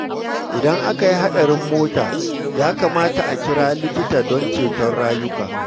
Idan aka yi haɗarin mota, ya kamata a kira likita don ceto rayuka.